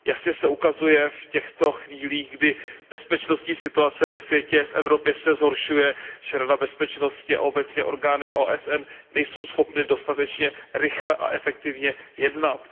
Jasně se ukazuje v těchto chvílích, kdy bezpečnostní situace ve světě, v Evropě se zhoršuje, že Rada bezpečnosti a obecně orgány OSN nejsou schopny dostatečně rychle a efektivně jednat.